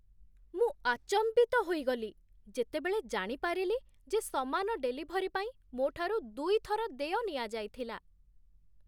ମୁଁ ଆଚମ୍ବିତ ହୋଇଗଲି, ଯେତେବେଳେ ଜାଣିପାରିଲି ଯେ ସମାନ ଡେଲିଭରୀ ପାଇଁ ମୋ'ଠାରୁ ଦୁଇଥର ଦେୟ ନିଆଯାଇଥିଲା!